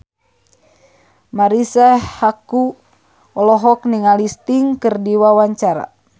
Marisa Haque olohok ningali Sting keur diwawancara